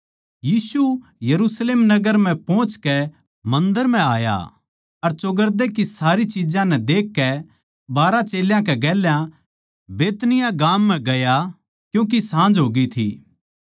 यीशु यरुशलेम नगर पोहचकै मन्दर म्ह आया अर चौगरदे की सारी चिज्जां नै देखकै बारहां चेल्यां कै गेल्या बैतनिय्याह गाम म्ह गया क्यूँके साँझ होग्यी थी